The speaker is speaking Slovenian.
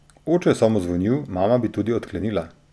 Oče je samo zvonil, mama bi tudi odklenila.